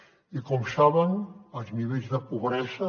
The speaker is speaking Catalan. i com saben els nivells de pobresa